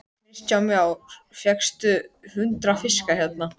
Sykrið eftir smekk og þykkið með hvítum sósujafnara.